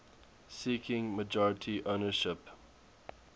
seeking majority ownership